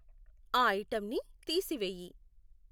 ఆ ఐటెంన్ని తీసివేయి.